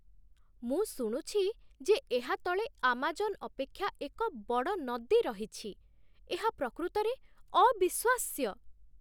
ମୁଁ ଶୁଣୁଛି ଯେ ଏହା ତଳେ ଆମାଜନ ଅପେଷା ଏକ ବଡ଼ ନଦୀ ରହିଛି। ଏହା ପ୍ରକୃତରେ ଅବିଶ୍ଵାସ୍ୟ!